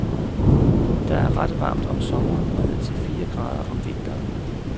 Der er ret varmt om sommeren og ned til fire grader om vinteren.